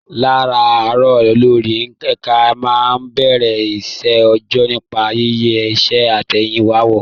Láràárọ̀, olórí ẹ̀ka máa ń bẹ̀rẹ̀ iṣẹ́ òòjọ́ nípa yíyẹ iṣẹ́ àtẹ̀yìnwá wò